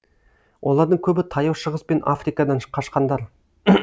олардың көбі таяу шығыс пен африкадан қашқандар